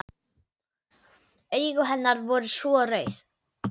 Augu hennar voru svo rauð.